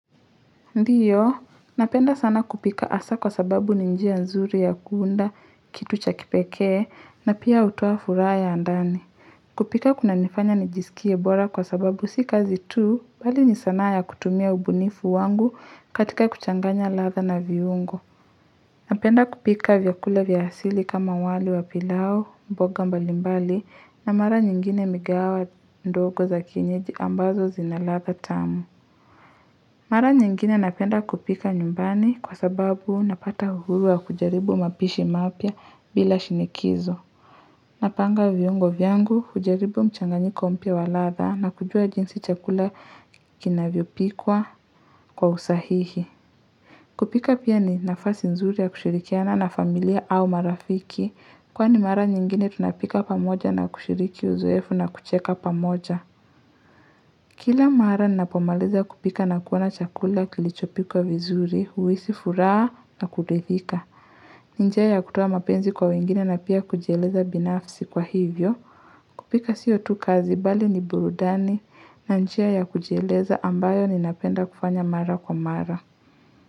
Ndiyo, napenda sana kupika asa kwa sababu ninjia nzuri ya kuunda, kitu cha kipekee, na pia utoa furaha ya ndani. Kupika kuna nifanya nijisikie bora kwa sababu si kazi tu, bali ni sana ya kutumia ubunifu wangu katika kuchanganya ladha na viungo. Napenda kupika vyakula vya sili kama wali wa pilao, mboga mbalimbali, na mara nyingine migawa ndogo za kienyeji ambazo zinalatha tamu. Mara nyingine napenda kupika nyumbani kwa sababu napata uhuru wa kujaribu mapishi mapya bila shinikizo. Napanga viungo vyangu, kujaribu mchanganyiko mpya wa latha na kujua jinsi chakula kinavyopikwa kwa usahihi. Kupika pia ni nafasi nzuri ya kushirikiana na familia au marafiki kwani mara nyingine tunapika pamoja na kushiriki uzoefu na kucheka pamoja. Kila mara ninapo maliza kupika na kuona chakula kilichopikwa vizuri, huisi furaa na kuridhika. Ninjia ya kutoa mapenzi kwa wengine na pia kujieleza binafsi kwa hivyo. Kupika siyo tu kazi bali ni burudani na njia ya kujieleza ambayo ninapenda kufanya mara kwa mara.